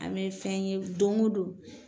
An bɛ fɛn ye don go don